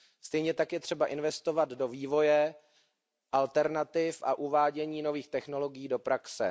Stejně tak je třeba investovat do vývoje, alternativ a uvádění nových technologií do praxe.